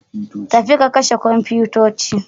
Tafi ka kashe komfitoci.